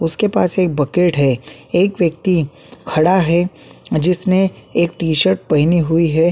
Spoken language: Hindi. उसके पास एक बकेट है एक व्यक्ति खड़ा है अ जिसने एक टी-शर्ट पहनी हुई हैं।